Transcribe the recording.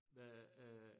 Hvad øh